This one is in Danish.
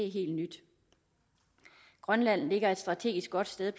helt nyt grønland ligger placeret et strategisk godt sted